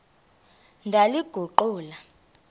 ndaliguqula